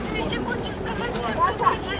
Mən hələ demək istəyirəm ki, bu ən yaxşı hədiyyədir.